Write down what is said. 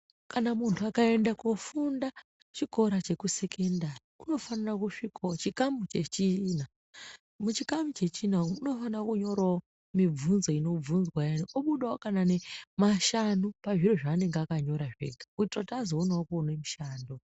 Kana muntu akaenda kunofunda chikora chesekondari unofanira kusvikawo chikamu chechina. Muchikamu chechina umwu anofanira kunyora runyoro rwepamusoro obudawo nezvidzidzo zvishanu kuitira kuti azogonawo kuwana mushando.